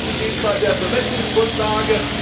Das Gleiche gilt bei der Bemessungsgrundlage.